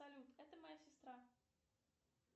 салют это моя сестра